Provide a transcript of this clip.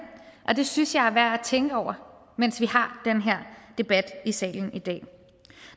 og det synes jeg er værd at tænke over mens vi har den her debat i salen i dag